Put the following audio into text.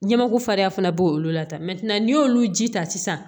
Ɲɛmakufaranya fana b'o olu la tan n'i y'olu ji ta sisan